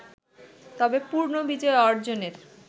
তবে পূর্ণ বিজয় অর্জনের